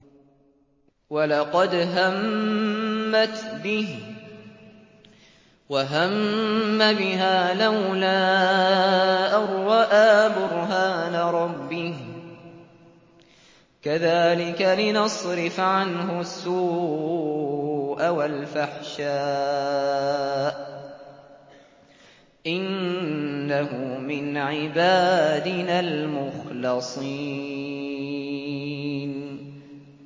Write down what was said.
وَلَقَدْ هَمَّتْ بِهِ ۖ وَهَمَّ بِهَا لَوْلَا أَن رَّأَىٰ بُرْهَانَ رَبِّهِ ۚ كَذَٰلِكَ لِنَصْرِفَ عَنْهُ السُّوءَ وَالْفَحْشَاءَ ۚ إِنَّهُ مِنْ عِبَادِنَا الْمُخْلَصِينَ